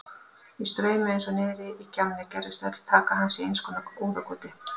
Í straumi eins og niðri í gjánni gerðist öll taka hans í einskonar óðagoti.